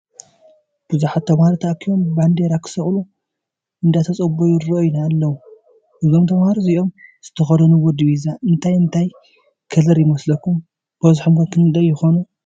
ቡዙሓት ተማሃሮ ተኣኪቦም ባንደራ ክስቅሉ እንዳተፀበዩ ይረአዩና ኣለዉ። እዞም ተማሃሮ እዚኦም ዝተከደንዎ ዲባዛ እንታይ እንታ ይከለር ይመስለኩም? በዝሖም ከ ክንደይ ይኮኑ?